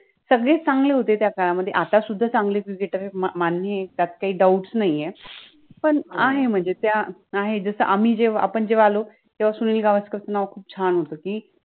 सगळेच चांगले होते त्या काळामधे, आतासुद्धा चांगले cricketERS आहेत मान्य आहे त्यात काहि डाउट्स नाहि आहे, पण आहे मनजे त्या आम्हि जेव्हा आपण जेव्हा आलो तेव्हा सुनिल गावस्कर च नाव खुप छान होत कि